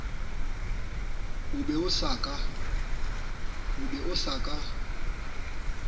o be o sa ka